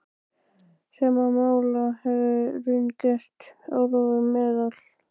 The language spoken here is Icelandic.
Sama máli hefði raunar gegnt um áróður meðal